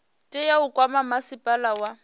tea u kwama masipala wa